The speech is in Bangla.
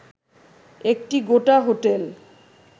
একটি গোটা হোটেল